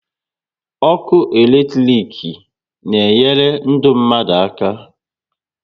Ọkụ electric na enyere ndụ mmadụ aka